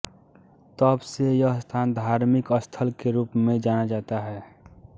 तब से यह स्थान धार्मिक स्थल के रूप में जाना जाता है